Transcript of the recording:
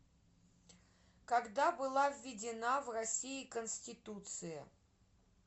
когда была введена в россии конституция